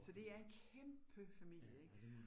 Så det er en kæmpe familie ik